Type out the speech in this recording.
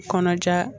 Kɔnɔja